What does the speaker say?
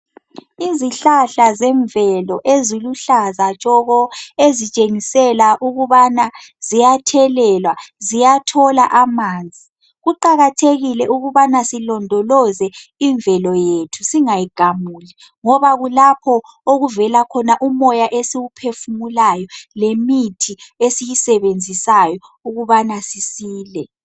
Izihlahla zemvelo eziluhlaza tshoko ezitshengisela ukubana ziyathelelwa ziyathola amanzi kuqakathekile ukubana silondoloze imvelo yethu singayigamuli ngoba kulapho okuvela khona umoya esiwuphefumulayo lemithi esiyisebenzisayo ukubana sisile.